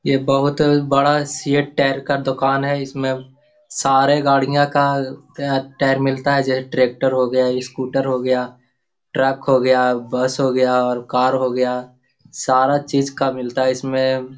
ये बहुत बड़ा सिएट टायर का दुकान हैं इसमें सारे गाड़ियाँ का टायर मिलता हैं जैसे ट्रेक्टर हो गया स्कूटर हो गया ट्रक हो गया बस हो गया और कार हो गया सारा चीज़ का मिलता है इसमें।